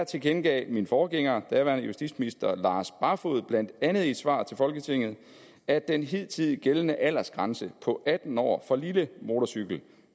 tilkendegav min forgænger daværende justitsminister lars barfoed blandt andet i et svar til folketinget at den hidtil gældende aldersgrænse på atten år for lille motorcykel